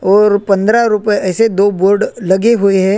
और पंद्रहा रुपय ऐसे दो बोर्ड लगे हुवे है।